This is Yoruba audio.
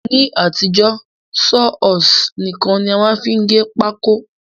Ní àtijó, Saw horse nìkan ni a má n fi gé pákó